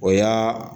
O y'aa